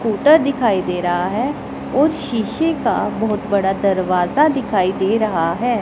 Scooter दिखाई दे रहा है और शीशे का बहोत बड़ा दरवाजा दिखाई दे रहा है।